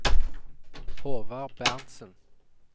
Håvard Berntzen